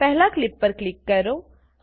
પહેલા ક્લીપ પર ક્લિક કરો